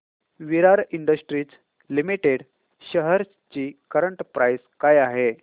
विराट industries limited shares ची current price काय आहे